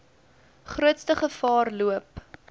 grootste gevaar loop